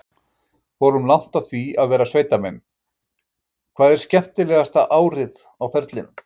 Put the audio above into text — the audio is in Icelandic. Fórum langt á því að vera sveitamenn: Hvað er skemmtilegasta árið á ferlinum?